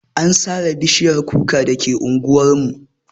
An sare bishiyar kuka dake anguwar mu.